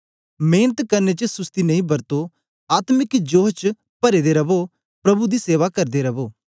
मेंनत करने च सुसती नेई बरतो आत्मिक जोश च परे दे रवो प्रभु दी सेवा करदे रवो